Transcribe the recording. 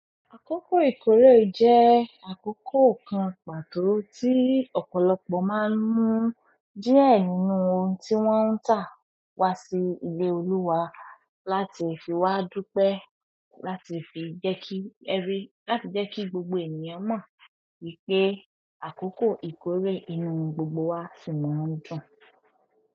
Àkókò ìkórè jẹ́ àkókò kan pàtó, tí ọ̀pọ̀lọpọ̀ máa mu díẹ̀ nínú ohun tí wọ́n ń ta wá sí ilé olúwa, láti fi wa dúpẹ́, láti fi jẹ́kí efiri, láti jẹ́ kí gbogbo ènìyàn mo wí pé àkókò ìkórè inú gbogbo wa sì mọ̀ ń dùn.